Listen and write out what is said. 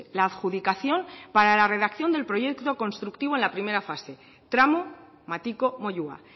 la adjudicación para la redacción del proyecto constructivo en la primera fase tramo matiko moyua